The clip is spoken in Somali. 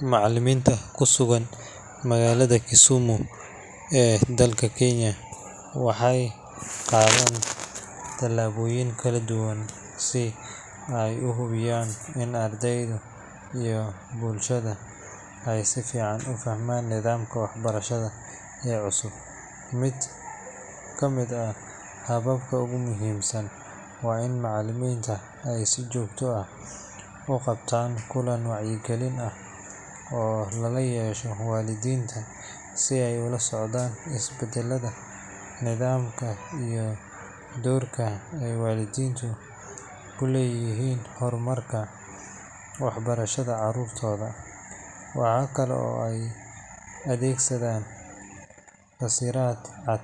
Macallimiinta ku sugan magaalada Kisumu ee dalka Kenya waxay qaadaan tallaabooyin kala duwan si ay u hubiyaan in ardayda iyo bulshada ay si fiican u fahmaan nidaamka waxbarasho ee cusub. Mid ka mid ah hababka ugu muhiimsan waa in macallimiintu ay si joogto ah u qabtaan kulan wacyigelin ah oo lala yeesho waalidiinta si ay ula socdaan isbeddelada nidaamka iyo doorka ay waalidiintu ku leeyihiin horumarka waxbarashada carruurtooda. Waxa kale oo ay adeegsadaan fasiraad cad